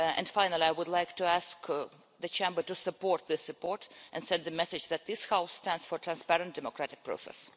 Finally, I would like to ask the Chamber to support this report and send the message that this House stands for transparent democratic process.